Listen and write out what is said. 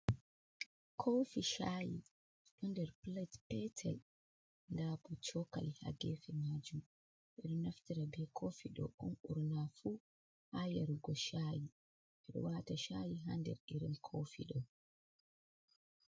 Kofi shaayi, ɗo nder plet petel. Nda bo cokali ha gefe maajum. Ɓe ɗo naftira be kofi ɗo on ɓurna fu ha yarugo shaayi. Ɓe ɗo waata shaayi ha nder irin kofi ɗo.